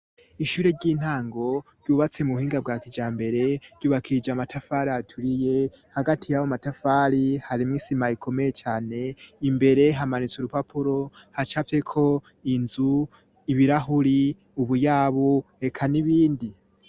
Ishure ry'intango ryubatse mu buhinga bwa kijambere, ryubakishije amatafari aturiye, hagati y'ayo matafari harimwo isima ikomeye cane, imbere hamanitse urupapuro hacafyeko inzu, ibirahuri, ubuyabu eka n'ibindi.